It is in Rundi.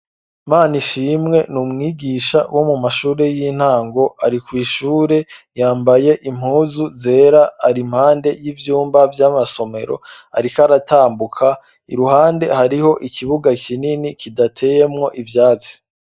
Mana ishimwe ni umwigisha wo mu mashure y'intango ari kw'ishure yambaye impuzu zera ari impande y'ivyumba vy'amasomero, ariko aratambuka i ruhande hariho ikibuga kinini kidateyemwo ivyazi.